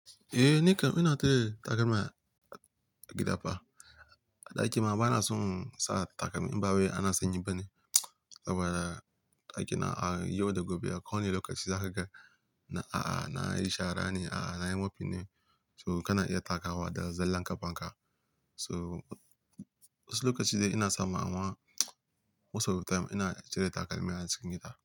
Eh, nikam ina cire takalma a gida fa. A ɗaki ma bana son sa takalmi in ba wai ana sanyi ba ne. Saboda a yau da gobe, ba ko wani lokaci zakaga nayi shara nayi mopping ne. So kana iya takawa da zallan ƙafanka. So wasu lokaci dai ina sama amma most of the time ina cire takalmi a cikin gida.